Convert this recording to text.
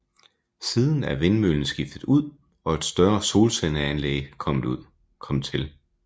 Siden er vindmøllen skiftet ud og et større solcelleanlæg kommet til